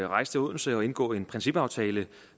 rejse til odense og indgå en principaftale